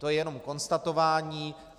To je jenom konstatování.